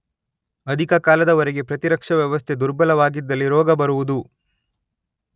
ಅಧಿಕ ಕಾಲದ ವರೆಗೆ ಪ್ರತಿರಕ್ಷ ವ್ಯವಸ್ಥೆ ದುರ್ಬಲವಾಗಿದ್ದಲ್ಲಿ ರೋಗ ಬರುವುದು